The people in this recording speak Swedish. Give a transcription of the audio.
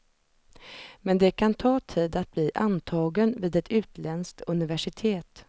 Men det kan ta tid att bli antagen vid ett utländskt universitet.